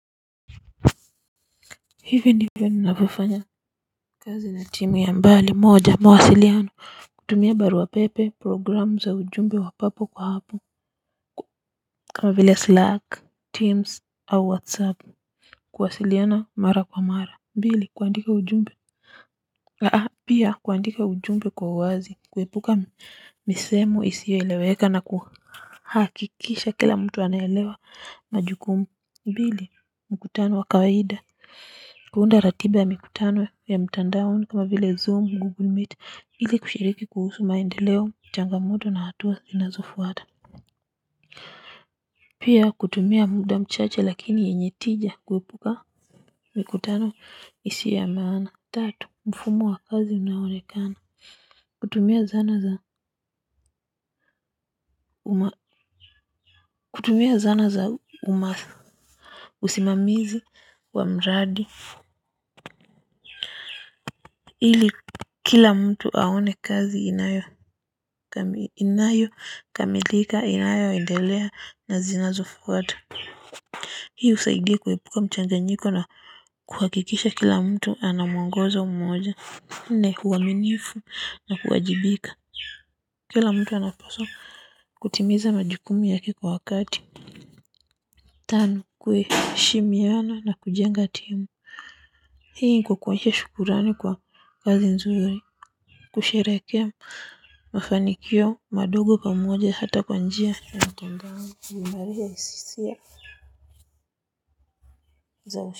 Hivi ndivyo ninavofanya kazi na timu ya mbali moja mwaasiliano kutumia barua pepe programu za ujumbe wa papo kwa hapo kama vile slack teams au whatsapp kuwasiliana mara kwa mara mbili kuandika ujumbe aa pia kuandika ujumbe kwa wazi kuepuka misemo isiyo eleweka na kuhakikisha kila mtu anaelewa majugumu mbili mkutano wa kawahida. Kuunda ratiba ya mikutano ya mtandaoni kama vile zoom, google meet. Ili kushiriki kuhusu maendeleo, changamoto na hatua inazofuata. Pia kutumia muda mchache lakini yenye tija kuepuka mikutano isiyo ya maana. Tatu, mfumo wa kazi unaonekana. Kutumia zana za uma usimamizi wa mradi ili kila mtu aone kazi inayokamilika inayoendelea na zinazofuata. Hii usaidia kuepuka mchanganyiko na kuhakikisha kila mtu ana mwangozo moja. Ni huaminifu na kuwajibika. Kila mtu anapaswa kutimiza majukumu yake kwa wakati. Tano kuheshimiana na kujenga timu. Hii iko kwa hio shukurani kwa kazi nzuri kushereke mafanikio madogo pamoja hata kwa njia.